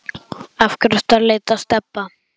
Af hverju ertu að leita að Stebba